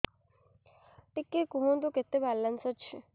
ଟିକେ କୁହନ୍ତୁ କେତେ ବାଲାନ୍ସ ଅଛି